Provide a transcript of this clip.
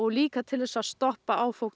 líka til þess að stoppa áfok